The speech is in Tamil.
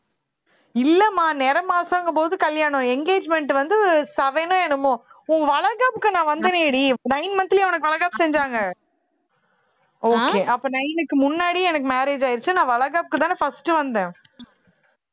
இல்லம்மா நிறை மாசங்கும் போது கல்யாணம் engagement வந்து seven ஓ என்னமோ உன் வளைக்கப்புக்கு நான் வந்தனேடி nine month லேயா உனக்கு வளைகாப்பு செஞ்சாங்க okay அப்ப nine க்கு முன்னாடி எனக்கு marriage ஆயிருச்சு நான் வளைகாப்புக்குத்தானே first வந்தேன்